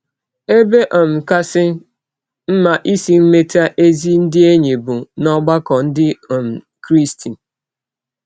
Ebe um kasị mma isi meta ezi ndị enyi bụ n’ọgbakọ ndị um Krịsti